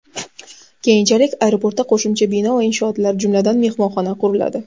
Keyinchalik aeroportda qo‘shimcha bino va inshootlar, jumladan, mehmonxona quriladi.